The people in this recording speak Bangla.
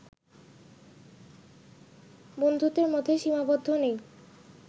বন্ধুত্বের মধ্যে সীমাবদ্ধ নেই